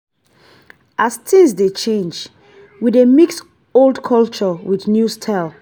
as tins dey change we dey mix old culture wit new style